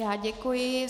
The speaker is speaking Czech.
Já děkuji.